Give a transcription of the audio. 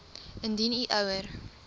indien u ouer